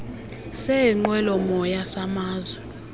seenqwelo moya samazwe